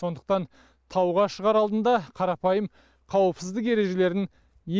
сондықтан тауға шығар алдында қарапайым қауіпсіздік ережелерін